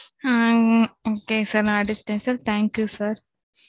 ஆ, okay sir நான் அடிச்சுட்டேன், sir thank you sir